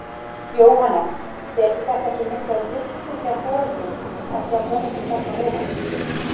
Jóhannes: Vekur þetta ekki mikla lukku hjá foreldrum að sjá börnin þarna ofan í?